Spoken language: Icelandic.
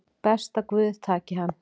Best að guð taki hann